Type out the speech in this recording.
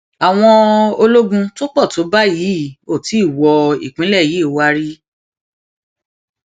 àwọn ológun tó pọ tó báyìí ò tí ì wo ìpínlẹ yìí wá rí